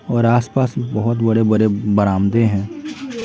और आसपास बहुत बड़े-बड़े बरामदे हैं।